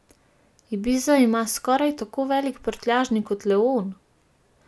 Ibiza ima skoraj tako velik prtljažnik kot leon?